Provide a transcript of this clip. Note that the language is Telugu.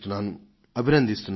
వారిని అభినందిస్తున్నాను